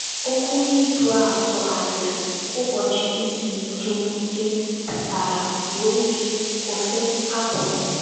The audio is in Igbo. Okwu Hibru a sụgharịrị “ Ụbọchị Izu Ike Ike ” pụtara “ zuo ike, kwụsị, hapụ.